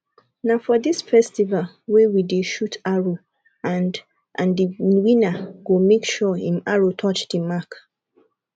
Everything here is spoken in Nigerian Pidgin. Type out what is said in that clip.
na for dis festival wey we dey shoot arrow and and the winner go make sure im arrow touch the mark